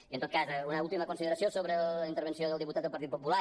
i en tot cas una última consideració sobre la intervenció del diputat del partit popular